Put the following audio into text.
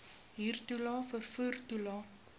huurtoelae vervoer toelae